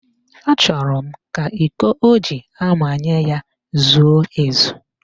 Achọrọ m ka iko o ji amanye ya zuo ezu